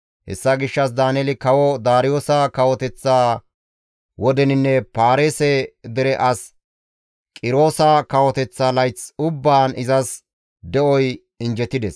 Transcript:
Hessa gishshas Daaneeli kawo Daariyoosa kawoteththa wodeninne Paarise dere as Qiroosa kawoteththa layth ubbaan izas de7oy injjetides.